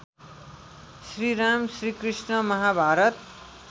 Shriram Shrikrishna Mahabharat